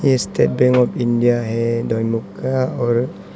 ये State Bank of India है दोईमुख का और--